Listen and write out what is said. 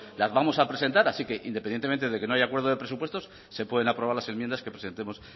las vamos a presentar así que independientemente de que no haya acuerdo de presupuestos se pueden aprobar las enmiendas que presentemos